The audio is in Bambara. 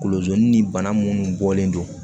Kolozini ni bana minnu bɔlen don